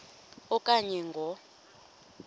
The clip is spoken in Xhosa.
a okanye ngo